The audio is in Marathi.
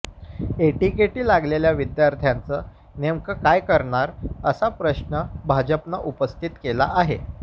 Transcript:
एटीकेटी लागलेल्या विद्यार्थ्यांचं नेमकं काय करणार असा प्रश्न भाजपनं उपस्थित केला आहे